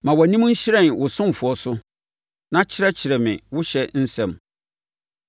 Ma wʼanim nhyerɛn wo ɔsomfoɔ so na kyerɛkyerɛ me wo ɔhyɛ nsɛm.